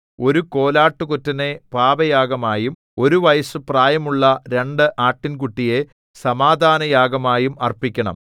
ഒരു കോലാട്ടുകൊറ്റനെ പാപയാഗമായും ഒരു വയസ്സു പ്രായമുള്ള രണ്ട് ആട്ടിൻകുട്ടിയെ സമാധാനയാഗമായും അർപ്പിക്കണം